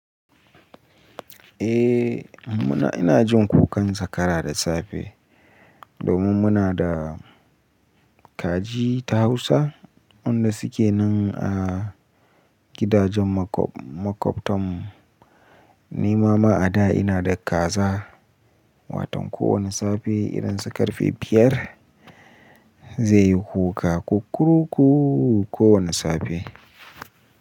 Eh muna ina jin kukan zakara da safe domin muna da kaji ta Hausa wanda suke nan a gidajen makwabtan mu. Ni ma ma a da ina da kaza, waton kowane safe irin su karfe biyar zai yi kuka kukkuruku kowane safe.